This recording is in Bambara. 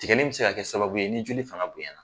Tigɛli be s se ka kɛ sababu ye ni joli fagan bonyan na